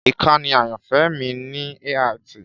Ìkànnì ayanfẹ mi ni AIT.